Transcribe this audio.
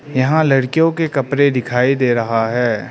यहां लड़कियों के कपड़े दिखाई दे रहा है।